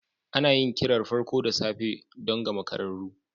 Ana yin kirar farko da safe don ga makararru.